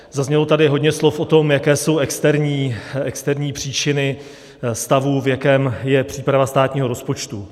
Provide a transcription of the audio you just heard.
Zaznělo tady hodně slov o tom, jaké jsou externí příčiny stavu, v jakém je příprava státního rozpočtu.